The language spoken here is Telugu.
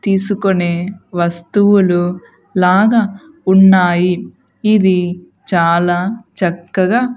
తీసుకునే వస్తువులు లాగా ఉన్నాయి ఇది చాలా చక్కగ--